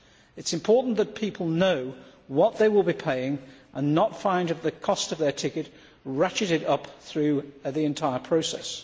It is important that people know what they will be paying, and not find the cost of their ticket ratcheted up through the entire process.